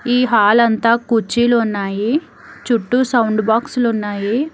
ఈ హాలంతా కుర్చీలు ఉన్నాయి చుట్టూ సౌండ్ బాక్స్ లు ఉన్నాయి.